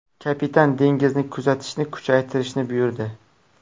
Kapitan dengizni kuzatishni kuchaytirishni buyurdi.